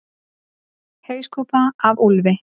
Hauskúpa af úlfi.